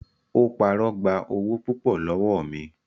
Ó parọ́ gba owó púpọ̀ lọ́wọ́ mi.